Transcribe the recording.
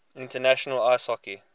international ice hockey